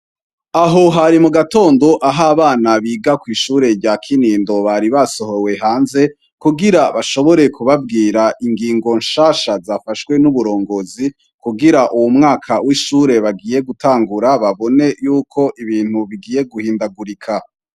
Aho hari mu gatondo aho abana biga kw'ishure rya Kinindo, bari basohowe hanze, kugira bashobore kubabwira ingingo nshasha zafashwe n'uburongozi, kugira uwu mwaka w'ishure bagiye gutangura, babone y'uko ibintu bigoye guhindagurika.